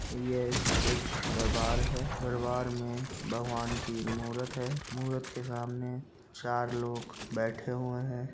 ये एक दरबार है दरबार में भगवान की मूरत है मूरत के सामने चार लोग बैठे हुए है।